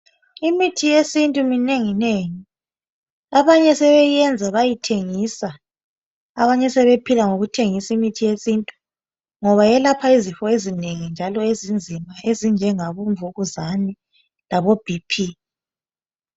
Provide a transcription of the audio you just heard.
Imithi yesintu minenginengi abanye sebeyenza bayethengisa abanye sebephila ngokuthengisa imithi yesintu ngoba yelapha izifo ezinengi njalo ezinzima ezinjengabomvukuzane labo BP.